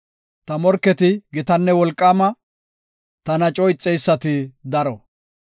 Ta morketi gitane wolqaama; tana coo ixeysati daro.